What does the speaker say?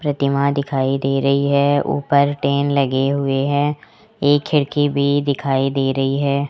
प्रतिमा दिखाई दे रही है ऊपर टीन लगे हुए है एक खिड़की भी दिखाई दे रही है।